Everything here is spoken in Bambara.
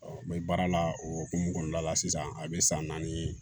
mɛ baara la o hukumu kɔnɔna la sisan a bɛ san naani